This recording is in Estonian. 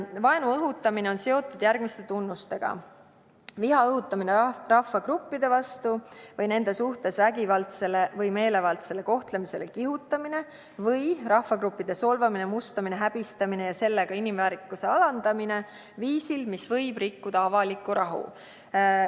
Vaenu õhutamine on seotud järgmiste tunnustega: viha õhutamine rahvagruppide vastu või nende suhtes vägivaldsele või meelevaldsele kohtlemisele kihutamine või rahvagruppide solvamine, mustamine, häbistamine ja sellega inimväärikuse alandamine viisil, mis võib rikkuda avalikku rahu.